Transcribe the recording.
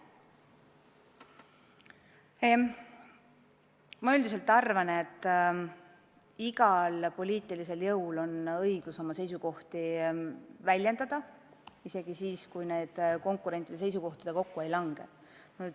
Ma üldiselt arvan, et igal poliitilisel jõul on õigus oma seisukohti väljendada, isegi siis, kui need konkurentide seisukohtadega kokku ei lange.